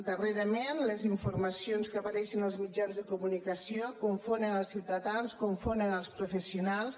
darrerament les informacions que apareixen als mitjans de comunicació confonen els ciutadans confonen els professionals